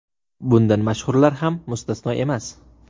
Bundan mashhurlar ham mustasno emas.